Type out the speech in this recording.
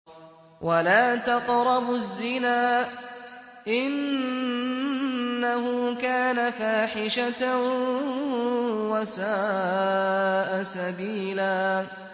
وَلَا تَقْرَبُوا الزِّنَا ۖ إِنَّهُ كَانَ فَاحِشَةً وَسَاءَ سَبِيلًا